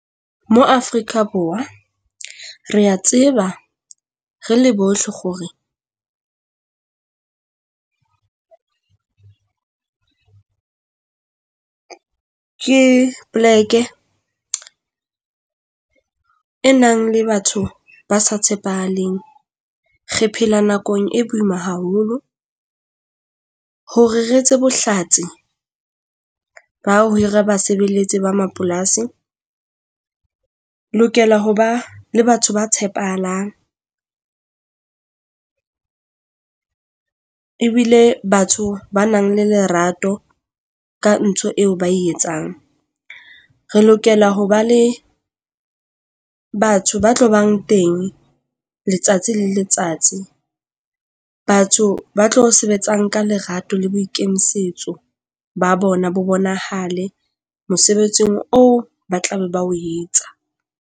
Mo Afrika Borwa, re a tseba re le bohle kgore , ke poleke e nang le batho ba sa tshepahaleng. Re phela nakong e boima haholo hore re etse bohlatsi ba here basebeletsi ba mapolasi, lokela ho ba le batho ba tshepahalang ebile batho ba nang le lerato ka ntho eo ba e etsang. Re lokela ho ba le batho ba tlo bang teng letsatsi le letsatsi. Batho ba tlo sebetsang ka lerato le boikemisetso ba bona bo bonahale mosebetsing oo ba tlabe ba o etsa.